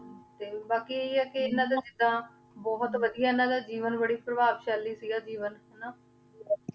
ਤੇ ਬਾਕੀ ਇਹੀ ਹੈ ਕਿ ਇਹਨਾਂ ਦੇ ਜਿੱਦਾਂ ਬਹੁਤ ਵਧੀਆ ਇਹਨਾਂ ਦਾ ਜੀਵਨ ਬੜੀ ਪ੍ਰਭਾਵਸ਼ਾਲੀ ਸੀਗਾ ਜੀਵਨ ਹਨਾ